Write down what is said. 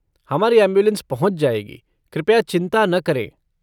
हमारी ऐम्बुलेन्स पहुंच जाएगी, कृपया चिंता न करें।